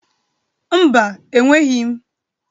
Mba, enweghi m.